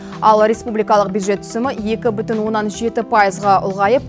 ал республикалық бюджет түсімі екі бүтін оннан жеті пайызға ұлғайып